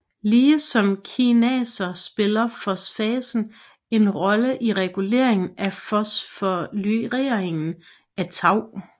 Lige som kinaser spiller fosfatase en rolle i reguleringen af fosforyleringen af tau